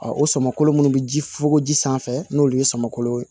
o sama kolo minnu bɛ ji fukokoji sanfɛ n'olu ye samakolo ye